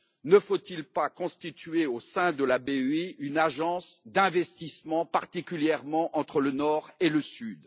Ne faut il pas constituer au sein de la BEI une agence d'investissement particulièrement entre le Nord et le Sud?